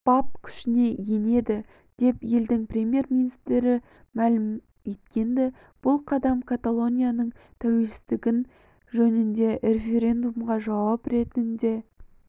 бап күшіне енеді деп елдің премьер-министрімәлім еткенді бұл қадам каталонияның тәуелсіздігі жөніндегі референдумға жауап ретінде